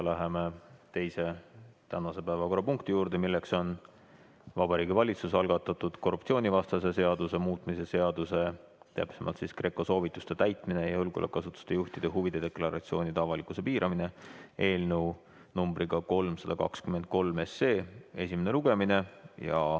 Läheme tänase teise päevakorrapunkti juurde, milleks on Vabariigi Valitsuse algatatud korruptsioonivastase seaduse muutmise seaduse eelnõu 323 esimene lugemine.